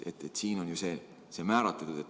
Selles eelnõus on see kindlaks määratud.